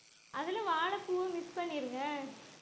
அதுல வாழைப்பூவும் mix பண்ணிருங்க